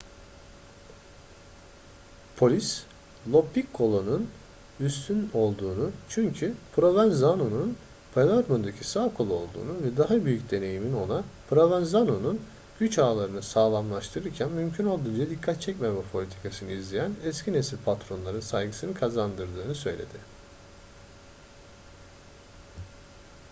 polis lo piccolo'nun üstün olduğunu çünkü provenzano'nun palermo'daki sağ kolu olduğunu ve daha büyük deneyiminin ona provenzano'nun güç ağlarını sağlamlaştırırken mümkün olduğunca dikkat çekmeme politikasını izleyen eski nesil patronların saygısını kazandırdığını söyledi